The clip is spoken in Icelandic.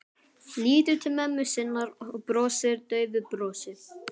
Lítur til mömmu sinnar og brosir daufu brosi.